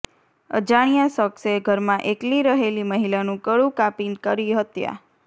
અજાણ્યા શખસે ઘરમાં એકલી રહેલી મહિલાનું કળું કાપી કરી હત્યા